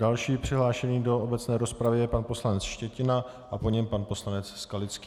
Další přihlášený do obecné rozpravy je pan poslanec Štětina a po něm pan poslanec Skalický.